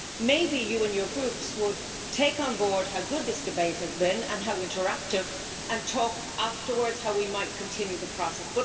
Maybe you and your Groups would take on board how good this debate has been and how interactive, and talk afterwards about how we might continue the process.